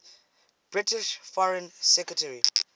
british foreign secretary